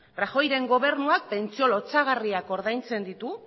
rajoyren gobernuak pentsio lotsagarriak ordaintzen ditu